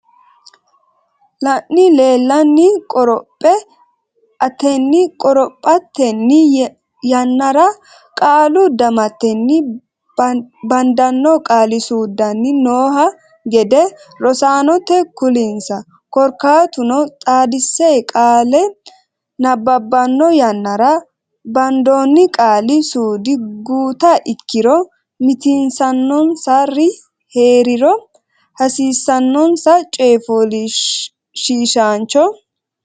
lanni leellanni qoroph atenni qorophatenni yannara qaalu damatenni baddanno qaali suudunni nooha gede rosaanote kulinsa korkaatuno xaadisse qaale nabbabbanno yannara bandoonni qaali suudi guuta ikkiro mitiinsannonsa ri hee riro hasiisannonsa coyishshiishshaancho.